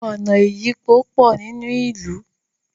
ọnà ìyípo pọ nínú ilú